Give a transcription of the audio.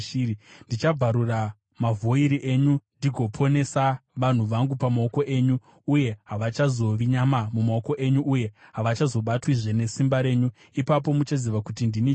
Ndichabvarura mavhoiri enyu ndigoponesa vanhu vangu pamaoko enyu, uye havachazovi nyama mumaoko enyu, uye havachazobatwizve nesimba renyu. Ipapo muchaziva kuti ndini Jehovha.